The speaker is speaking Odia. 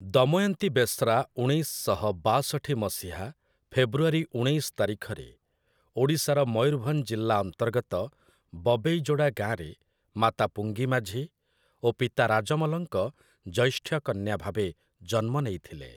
ଦମୟନ୍ତୀ ବେଶ୍ରା ଉଣେଇଶ ଶହ ବାଷଠି ମସିହା ଫେବୃଆରୀ ଉଣେଇଶ ତାରିଖରେ, ଓଡ଼ିଶାର ମୟୂରଭଞ୍ଜ ଜିଲ୍ଲା ଅନ୍ତର୍ଗତ ବବେଇଯୋଡ଼ା ଗାଁରେ, ମାତା ପୁଙ୍ଗି ମାଝୀ ଓ ପିତା ରାଜମଲଙ୍କ ଜୈଷ୍ଠ୍ୟ କନ୍ୟା ଭାବେ ଜନ୍ମ ନେଇଥିଲେ ।